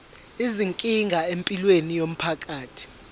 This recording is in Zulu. izinkinga empilweni yomphakathi